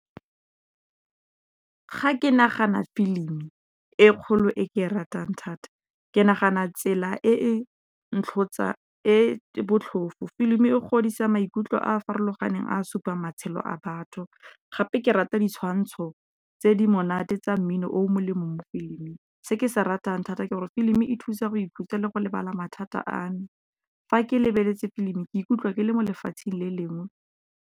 Fa ke nagana filimi e kgolo e ke e ratang thata ke nagana tsela e e botlhofo. Filimi e godisa maikutlo a a farologaneng a supang matshelo a batho, gape ke rata ditshwantsho tse di monate tsa mmino o molemo. Se ke se ratang thata ke gore filimi e thusa go ithuta le go lebala mathata a, fa ke lebeletse filimi ke ikutlwa ke le mo lefatsheng le lengwe.